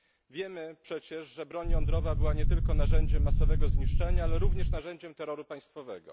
Wiemy przecież, że broń jądrowa była nie tylko narzędziem masowego zniszczenia, ale również narzędziem terroru państwowego.